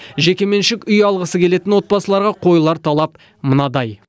жекеменшік үй алғысы келетін отбасыларға қойылар талап мынадай